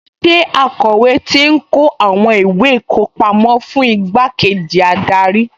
Ṣé akọ̀wé ti ń kó àwọn ìwé ìkọpámọ́ fún igbákejì adarí?